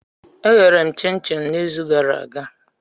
Eghere m chin-chin n'izu gara aga.